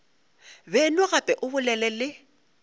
beno gape o bolele le